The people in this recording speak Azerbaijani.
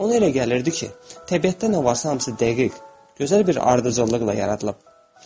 Ona elə gəlirdi ki, təbiətdə nə varsa, hamısı dəqiq, gözəl bir ardıcıllıqla yaradılıb.